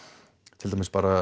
til dæmis bara